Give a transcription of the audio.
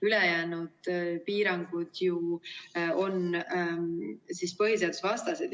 Ülejäänud piirangud on ju põhiseadusvastased.